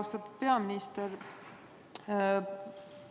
Austatud peaminister!